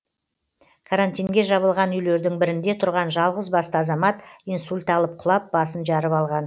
карантинге жабылған үйлердің бірінде тұрған жалғыз басты азамат инсульт алып құлап басын жарып алған